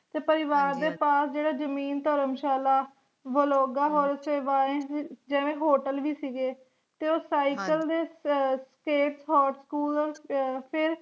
ਤੇ ਪਰਿਵਾਰ ਦੇ ਪਾਸ ਜਿਹੜਾ ਜਮੀਨ ਧਰਮਸ਼ਾਲਾ ਹੋਰ ਸੇਵਾਏਂ ਜਿਵੇ Hotel ਵੀ ਸੀਗੇ ਤੇ ਉਹ Cycle ਦੇ ਅਹ School ਅਹ